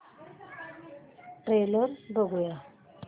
trailer बघूया